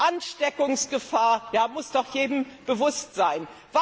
Die Ansteckungsgefahr muss doch jedem bewusst sein.